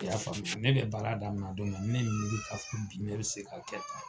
I y'a faamuya ne bɛ baara daminɛ don min na ni ne ye n miiri k'a fɔ bi ne be se k'a kɛ tan